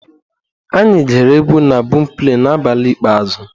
Anyị ghere egwu na bọọmpleị n'abalị ikpeazụ.